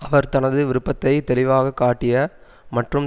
அவர் தனது விருப்பத்தை தெளிவாக காட்டிய மற்றும்